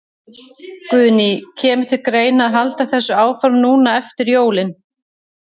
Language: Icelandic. Guðný: Kemur til greina að halda þessu áfram núna eftir jólin?